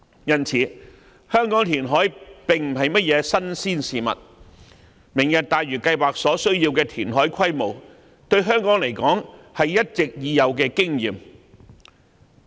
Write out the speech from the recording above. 因此，香港填海並非甚麼新鮮事，而對於香港而言，"明日大嶼"計劃需要的填海規模是一直已有的經驗。